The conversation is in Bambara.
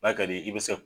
N'a ka d'i ye i bi se